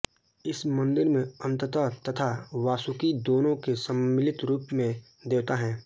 इस मन्दिर में अनन्त तथा वासुकि दोनों के सम्मिलित रूप में देवता हैं